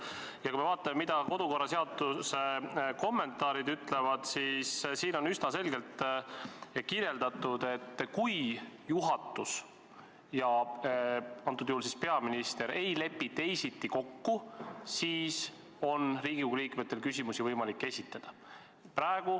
Ja kui me vaatame, mida kodu- ja töökorra seaduse kommentaarid ütlevad, siis siin on üsna selgelt kirjeldatud, et kui juhatus ja antud juhul peaminister ei lepi teisiti kokku, siis on Riigikogu liikmetel võimalik küsimusi esitada.